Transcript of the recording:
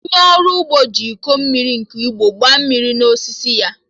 Onye ọrụ ugbo ji iko mmiri nke ugbo gbaa mmiri na osisi ya